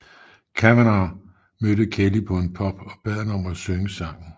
Kavanagh mødte Kelly på en pub og bad ham om at synge sangen